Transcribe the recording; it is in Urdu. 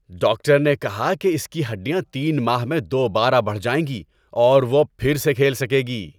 ڈاکٹر نے کہا کہ اس کی ہڈیاں تین ماہ میں دوبارہ بڑھ جائیں گی اور وہ پھر سے کھیل سکے گی۔